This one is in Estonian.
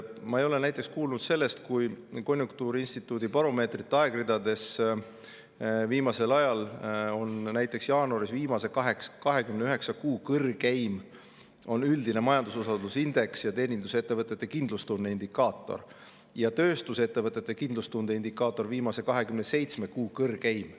Ma ei ole näiteks kuulnud sellest, et konjunktuuriinstituudi baromeetrite aegridades on näiteks jaanuaris viimase 29 kuu kõrgeim üldine majandususalduse indeks ja teenindusettevõtete kindlustunde indikaator ning tööstusettevõtete kindlustunde indikaator viimase 27 kuu kõrgeim.